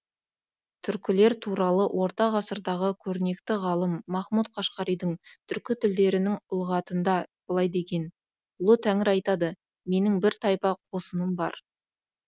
түркілер туралы орта ғасырдағы көрнекті ғалым махмұд қашқаридың түркі тілдерінің лұғатында былай деген ұлы тәңір айтады менің бір тайпа қосыным бар